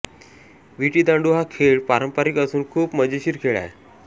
विटीदांडू हा खेळ पारंपारिक असून खूप मजेशीर खेळ आहे